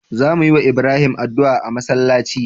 Za muyi wa Ibrahim adu'a a masalaci